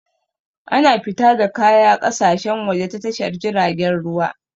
Ana fita da kaya ƙasashen waje ta Tashar jiragen ruwa.